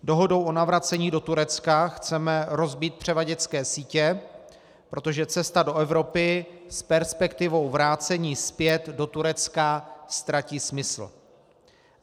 Dohodou o navracení do Turecka chceme rozbít převaděčské sítě, protože cesta do Evropy s perspektivou vrácení zpět do Turecka ztratí smysl.